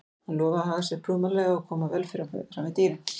Hann lofaði að haga sér prúðmannlega og koma vel fram við dýrin.